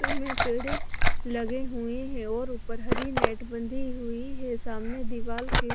मे पेड़े लगे हुए है और ऊपर हरी नेट बंधी हुई है सामने दीवार के--